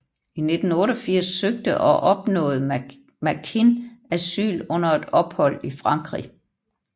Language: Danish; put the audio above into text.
I 1988 søgte og opnåede Makin asyl under et ophold i Frankrig